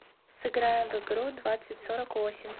сыграем в игру двадцать сорок восемь